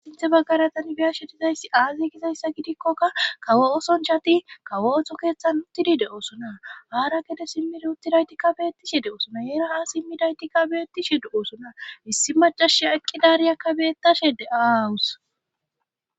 Sinthe baggara tani biya shedizayssi aaze gizayssa gidikkoka kawo oson chati kawo otho keeththan huttidi de'osona haara kede simmi ruuttidaytikka beettishe de7oson' yeeraha simmidaytikka beettishe de'oosona issi macashe aqqidariyakka bettashe de'aawus.